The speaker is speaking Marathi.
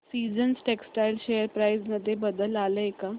सीजन्स टेक्स्टटाइल शेअर प्राइस मध्ये बदल आलाय का